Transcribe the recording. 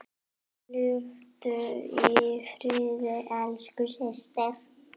Hvíldu í friði elsku systir.